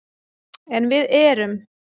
En við erum